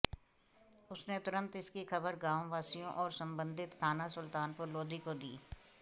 उसने तुरंत इसकी खबर गांव वासियों और संबंधित थाना सुल्तानपुर लोधी को दी